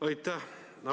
Aitäh!